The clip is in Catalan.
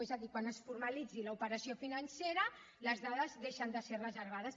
és a dir quan es formalitzi l’operació financera les dades deixen de ser reservades